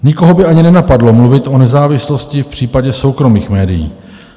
Nikoho by ani nenapadlo mluvit o nezávislosti v případě soukromých médií.